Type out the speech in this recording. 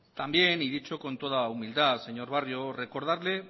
también y dicho con toda humildad señor barrio recordarle